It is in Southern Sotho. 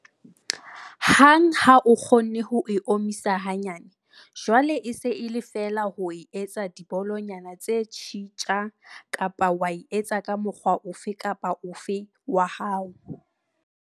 Hang ha o kgonne ho e omisa hanyane, jwale e se e le feela ho e etsa dibolonyana tse tjhitja kapa wa etsa ka mokgwa ofe kapa ofe wa hao.